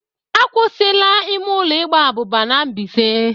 A kwụsị la ime ụlọ igba abụba n'Mbaise.